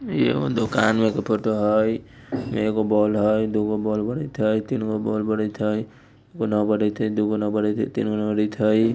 इ एगो दुकान में के फोटो हई ए में एगो बोल हई दू गो बोल बड़त हई तीन गो बोल बड़त हई एगो उना बड़त हई दू गो उने बड़त हई तीन गो उने बड़त हई।